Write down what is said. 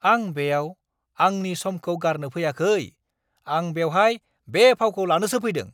आं बेयाव आंनि समखौ गारनो फैयाखै! आं बेवहाय बे फावखौ लानोसो फैदों!